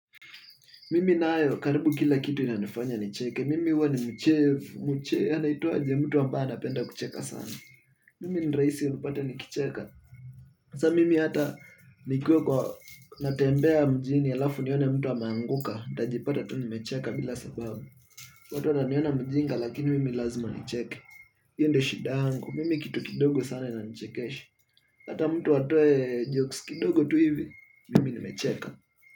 Mimi nayo karibu kila kitu inanifanya nicheke, mimi huwa ni mchevu, mchevu, anaitwaje mtu ambaye anapenda kucheka sana. Mimi ni rahisi unipate nikicheka. Hasa mimi hata nikiwa kwa natembea mjini halafu nione mtu ameanguka, nitajipata tu nimecheka bila sababu. Watu wananiona mjinga lakini mimi lazima nicheke. Hiyo ndo shida yangu, mimi kitu kidogo sana inanichekesha. Hata mtu atoe jokes kidogo tu hivi, mimi nimecheka.